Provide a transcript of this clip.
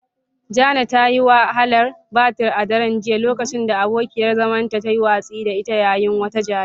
Jane ta sha wahalar batir a daren jiya lokacin da abokiyar zamanta ta yi watsi da ita yayin wata jayayya.